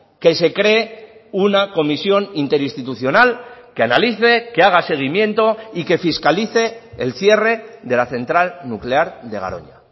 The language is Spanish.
que se cree una comisión interinstitucional que analice que haga seguimiento y que fiscalice el cierre de la central nuclear de garoña